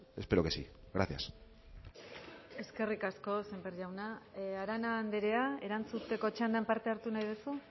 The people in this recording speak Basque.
espero que sí gracias eskerrik asko sémper jauna arana andrea erantzuteko txandan parte hartu nahi duzu